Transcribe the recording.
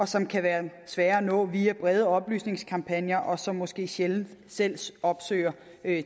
som kan være svære at nå via brede oplysningskampagner og som måske sjældent selv opsøger